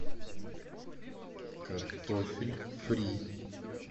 картофель фри